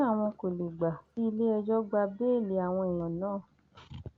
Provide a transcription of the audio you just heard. wọn ní àwọn kò lè gbà kí iléẹjọ gba bẹẹlí àwọn èèyàn náà